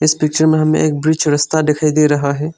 Picture में हमें एक ब्रिज रस्ता दिखाई दे रहा है।